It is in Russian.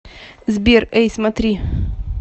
сбер эй смотри